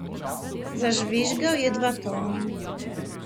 Zažvižgal je dva tona.